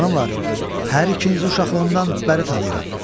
Xanımlar, hər ikinizi uşaqlığımdan bəri tanıyıram.